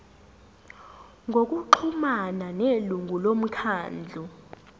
ngokuxhumana nelungu lomkhandlu